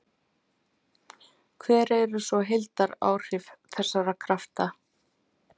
Hver eru svo heildaráhrif þessara krafta?